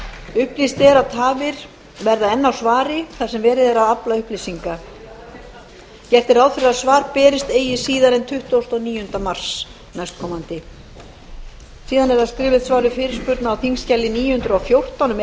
upplýst er að tafir verða enn á svari þar sem verið er að afla upplýsinga gert er ráð fyrir að svari berist eigi síðar en tuttugasta og níunda mars næstkomandi skriflegt svar við fyrirspurn á þingskjali níu hundruð og fjórtán um